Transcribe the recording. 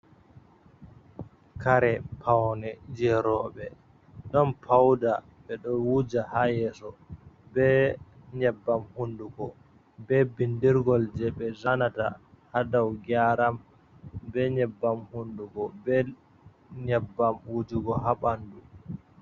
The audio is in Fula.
Kare paune je robe. Ɗon pauda. Be ɗo wuja ha yeso. Be nyebbam hundugo, be bindirgol je be zanata ha dau geyaram. Be nyebbam hundugo. Be nyebbam wujugo ha banɗu.